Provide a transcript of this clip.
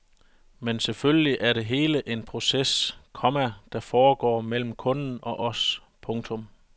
Men selvfølgelig er det hele en proces, komma der foregår mellem kunden og os. punktum